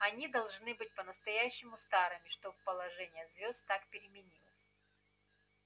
они должны быть по-настоящему старыми чтобы положение звёзд так переменилось